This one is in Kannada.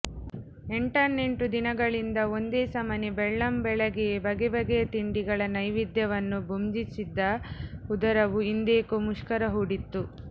ಎಂಟಾನೆಂಟು ದಿನಗಳಿಂದ ಒಂದೇ ಸಮನೆ ಬೆಳ್ಳಂಬೆಳಿಗ್ಗೆೆಯೇ ಬಗೆ ಬಗೆಯ ತಿಂಡಿಗಳ ನೈವೇದ್ಯ ವನ್ನು ಬುಂಜಿಸಿದ್ದ ಉದರವು ಇಂದೇಕೊ ಮುಷ್ಕರ ಹೂಡಿತ್ತು